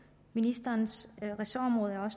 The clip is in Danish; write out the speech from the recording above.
ministerens ressortområde er